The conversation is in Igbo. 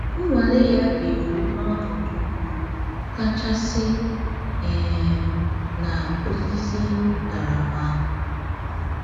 Nnwale ya ga-eru n’ọnọdụ mgbu kachasị um na osisi ntaramahụhụ.